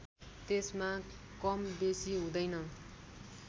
त्यसमा कम बेसी हुँदैन